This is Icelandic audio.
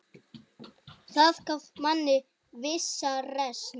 Það gaf manni vissa reisn.